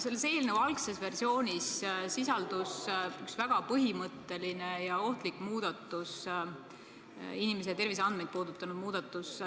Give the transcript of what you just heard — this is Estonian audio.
Selle eelnõu algses versioonis sisaldus üks väga põhimõtteline ja ohtlik inimese terviseandmeid puudutanud muudatus.